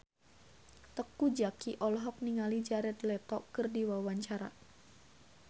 Teuku Zacky olohok ningali Jared Leto keur diwawancara